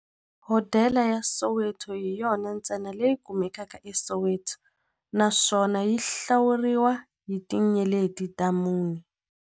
Hodela ya Soweto hi yona ntsena leyi kumekaka eSoweto, naswona yi hlawuriwa hi tinyeleti ta mune.